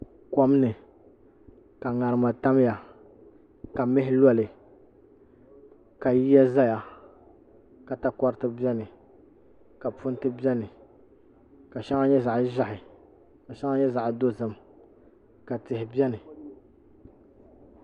kom ni ka ŋarima tamya ka mihi loli ka yiya ʒɛya ka takoriti biɛni ka punti biɛni ka shɛŋa nyɛ zaɣ ʒiɛhi ka shɛŋa nyɛ zaɣ dozim ka tihi biɛni